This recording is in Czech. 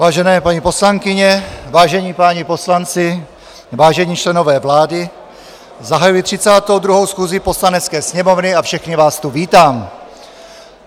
Vážené paní poslankyně, vážení páni poslanci, vážení členové vlády, zahajuji 32. schůzi Poslanecké sněmovny a všechny vás tu vítám.